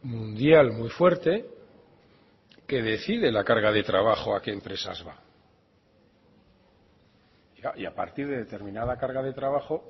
mundial muy fuerte que decide la carga de trabajo a qué empresas va y a partir de determinada carga de trabajo